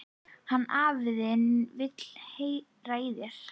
Hann afi þinn vill heyra í þér.